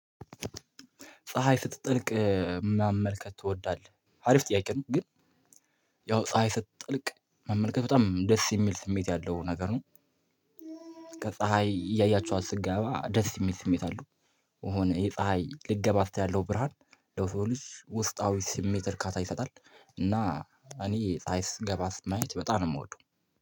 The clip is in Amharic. ፀሀይ ስትጠልቅ መመልከት ትወዳለህ አሪፍ ጥያቄ ነው? ግን ያው ፀሀይ ስትጠልቅ መመልከት በጣም ደስ የሚል ስሜት ያለው ነገር ነው። ከፀሀይ እያያችኋት ስትገባ ደስ የሚል ስሜት አለው። የሆነ የፀሀይ ልትገባ ስትል ያለው ብርሃን ለውስጣዊ ስሜት እርካታ ይሰጣል። እና እኔ ፀሀይ ስትገባ ማየት በጣም ነው የምወደው።